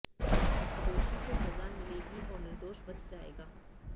दोषी को सजा मिलेगी और निर्दोष बच जाएगा